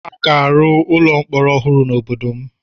A ga-arụ ụlọ mkpọrọ ọhụrụ n'obodo m